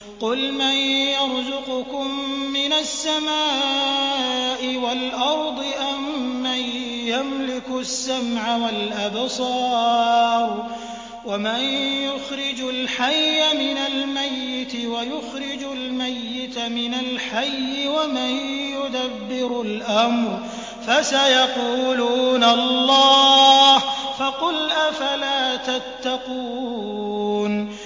قُلْ مَن يَرْزُقُكُم مِّنَ السَّمَاءِ وَالْأَرْضِ أَمَّن يَمْلِكُ السَّمْعَ وَالْأَبْصَارَ وَمَن يُخْرِجُ الْحَيَّ مِنَ الْمَيِّتِ وَيُخْرِجُ الْمَيِّتَ مِنَ الْحَيِّ وَمَن يُدَبِّرُ الْأَمْرَ ۚ فَسَيَقُولُونَ اللَّهُ ۚ فَقُلْ أَفَلَا تَتَّقُونَ